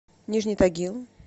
нижний тагил